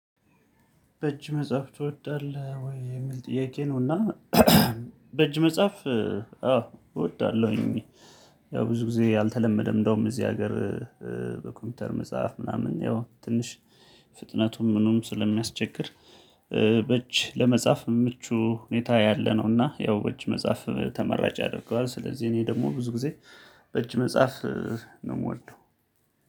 በእጅ መጻፍ ትወዳለህ ወይ የሚል ጥያቄ ነውና? በእጅ መጻፍ አዎ እወዳለሁኝ። ያው ብዙ ጊዜ አልተለመደም እንደውም እዚህ ሀገር። በኮምፒውተር መጻፍ ምናምን ያው ትንሽ ፍጥነቱም ምኑም ስለሚያስቸግር። በእጅ ለመጻፍ ምቹ ሁኔታ ያለነውና ያው በእጅ መጻፍ ተመራጭ ያደርገዋል። ስለዚህ እኔ ደግሞ ብዙ ጊዜ በእጅ መጻፍ ነው የምወደው።